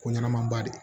Ko ɲɛnamaba de